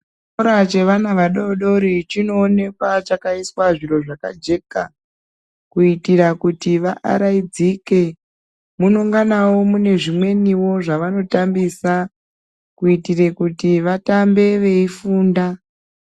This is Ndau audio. Chikora chevana vadoodori chinoonekwa chakaiswe zviro zvakajeka. Kuitira kuti vaaraidzike. Munenganawo mune zvimweniwo zvavanotambisa, kuitire kuti vatambe veifunda.